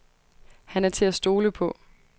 Han er til at stole på.